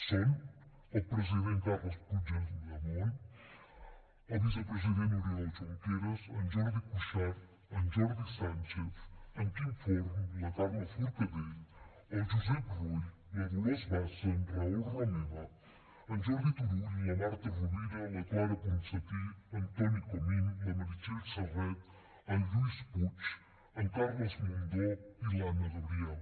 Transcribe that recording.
són el president carles puigdemont el vicepresident oriol junqueras en jordi cuixart en jordi sànchez en quim forn la carme forcadell el josep rull la dolors bassa en raül romeva en jordi turull la marta rovira la clara ponsatí en toni comín la meritxell serret en lluís puig en carles mundó i l’anna gabriel